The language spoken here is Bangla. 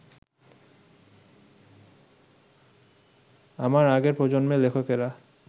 আমার আগের প্রজন্মের লেখকেরা